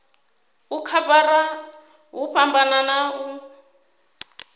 u khavara hu fhambana u